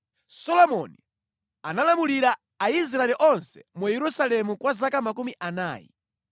Solomoni analamulira Aisraeli onse mu Yerusalemu kwa zaka makumi anayi.